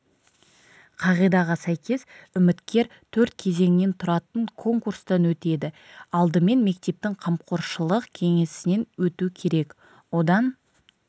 қағидаға сәйкес үміткер төрт кезеңнен тұратын конкурстан өтеді алдымен мектептің қамқоршылық кеңесінен өту керек одан